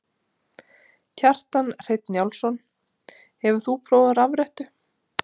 Kjartan Hreinn Njálsson: Hefur þú prófað rafrettu?